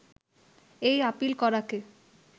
এই আপিল করাকে